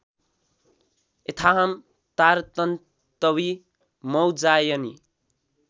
यथाः तारतन्तवी मौज्जायनी